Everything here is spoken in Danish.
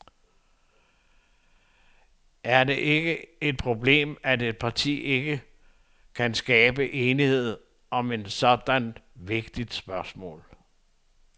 Er det ikke et problem, at et parti ikke kan skabe enighed om sådan et vigtigt spørgsmål?